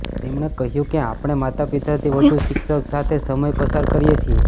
તેમણે કહ્યુ કે આપણે માતાપિતાથી વધુ શિક્ષક સાથે સમય પસાર કરીએ છીએ